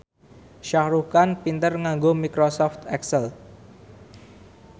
Shah Rukh Khan pinter nganggo microsoft excel